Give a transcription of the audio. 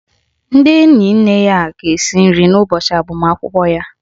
Ndị enyi nne ya ga-esi nri n' ụbọchị agbamakwụkwọ ya.